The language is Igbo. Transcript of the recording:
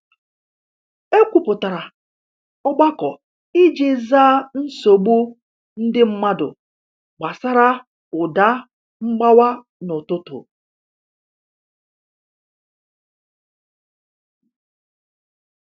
E kwupụtara ogbako iji zaa nsogbu ndị mmadụ gbasara ụda mgbawa n’ụtụtụ